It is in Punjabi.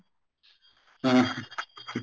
ਹਮ